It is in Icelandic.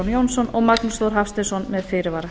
magnús þór hafsteinsson með fyrirvara